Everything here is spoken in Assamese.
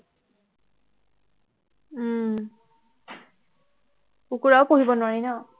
উহ কুকুৰাও পুহিব নোৱাৰি ন